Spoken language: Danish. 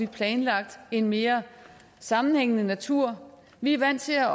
planlagt en mere sammenhængende natur vi er vant til at